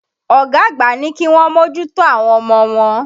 Ọ̀gá àgbà ní kíwọ́n mòjùtò àwọn ọmọ wọn.